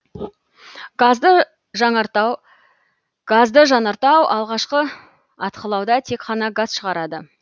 газды жанартау алғашқы атқылауда тек қана газ шығарады